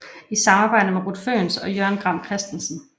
I samarbejde med Ruth Fønss og Jørgen Gram Christensen